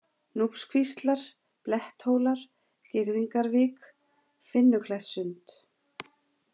Núpskvíslar, Bletthólar, Girðingarvík, Finnuklettssund